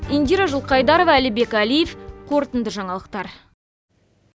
индира жылқайдарова әлібек әлиев қорытынды жаңалықтар